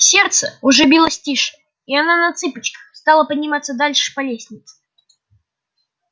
сердце уже билось тише и она на цыпочках стала подниматься дальше по лестнице